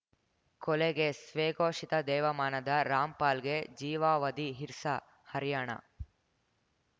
ಕೊಲೆ ಗೇಸ್‌ ಸ್ವಘೋಷಿತ ದೇವಮಾನದ ರಾಮ್‌ಪಾಲ್‌ಗೆ ಜೀವಾವಧಿ ಹಿರ್ಸಾಹರ್ಯಾಣ